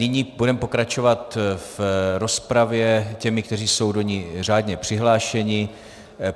Nyní budeme pokračovat v rozpravě těmi, kteří jsou do ní řádně přihlášeni.